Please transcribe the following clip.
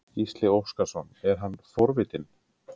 Gísli Óskarsson: Er hann forvitinn?